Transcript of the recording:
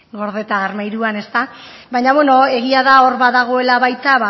gordeta armairuan ezta baina beno egia da hor dagoela baita